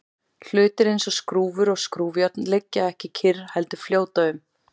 hlutir eins og skrúfur og skrúfjárn liggja ekki kyrr heldur fljóta um